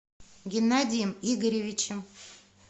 геннадием игоревичем